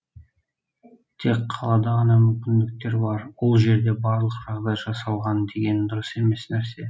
тек қалада ғана мүмкіндіктер бар ол жерде барлық жағдай жасалған деген дұрыс емес нәрсе